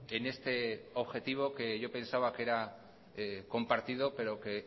en este objetivo que yo pensaba que era compartido pero que